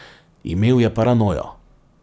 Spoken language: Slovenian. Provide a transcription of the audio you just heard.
Imel je paranojo.